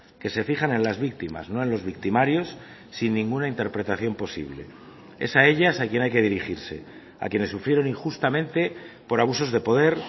que se fijan en las víctimas no en los victimarios sin ninguna interpretación posible es a ellas a quien hay que dirigirse a quienes sufrieron injustamente por abusos de poder